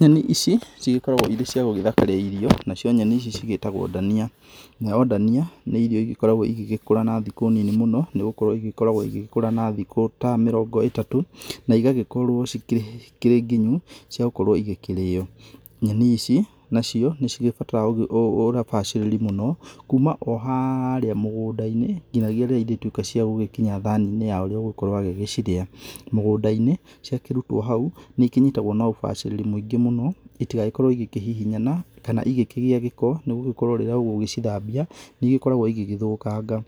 Nyenĩ ici ĩgĩkoragwo irĩ cia gũgĩthakaria irio, nacio nyenĩ ici cigĩtagwo ndania. Nayo ndania nĩ irio ĩgĩkoragwo igĩgĩkũra na thikũ nini mũno nĩgũkorwo ĩgĩkoragwo igĩgĩkora na thikũ ta mĩrongo ĩtatũ na ĩgagĩkorwo cikĩrĩ nginyu ciagũkorwo igĩkĩrĩyo. Nyenĩ ici nacio nicigĩbataraga ũgĩkorwo na ũbacĩrĩri mũno kuma o harĩa mũgũnda-inĩ nginyagia rĩrĩa irĩtuĩka cia gũgĩkinya thaninĩ ya ũrĩa ũgũgĩkorwo agĩcirĩa. Mũgũnda-inĩ ciakĩrutwo hau nĩikĩnyitagwo na ũbacĩrĩri mũingĩ mũno ĩtagĩkorwo igĩkĩhihinyana kana igĩkĩgĩa gĩko nĩgũgĩkorwo rĩrĩa ũgũgĩcithabia nĩigĩkoragwo igĩthũkanga.